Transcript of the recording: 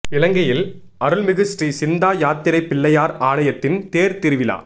இலங்கையில் அருள்மிகு ஸ்ரீ சிந்தா யாத்திரைப் பிள்ளையார் ஆலயத்தின் தேர் திருவிழா